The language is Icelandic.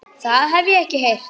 Það hef ég ekki heyrt.